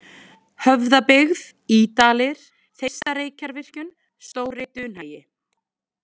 Höfðabyggð, Ýdalir, Þeistareykjavirkjun, Stóri Dunhagi